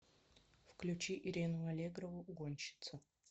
включи ирину аллегрову угонщица